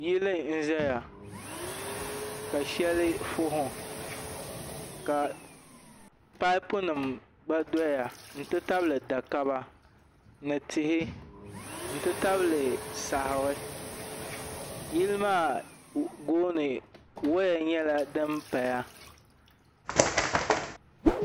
yili n-zaya ka shɛli fahi ka paapunima gba dɔya nti tabili dakaba ni tihi nti tabili saɣiri yili maa gooni waya nyɛla din paya